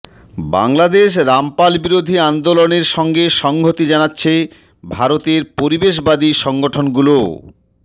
বাংলাদেশ রামপাল বিরোধী আন্দোলনের সঙ্গে সংহতি জানাচ্ছে ভারতের পরিবেশবাদী সংগঠনগুলোও